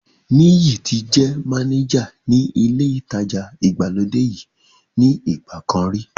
Níyì ti jẹ́ mánéjà ní ilé ìtajà ìgbàlódé yìí ní ìgbà kan rí